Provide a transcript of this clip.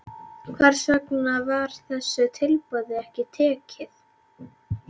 Hvers vegna var þessu tilboði ekki tekið?